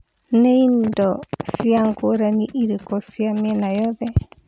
nĩ ĩndo cĩa ngũranĩ ĩrikũ cia mĩena yothe